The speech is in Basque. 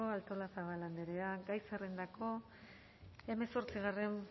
artolazabal andrea gai zerrendako hemezortzigarren